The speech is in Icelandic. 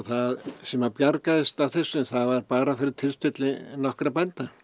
sem bjargaðist af þessu það var bara fyrir tilstilli nokkurra bænda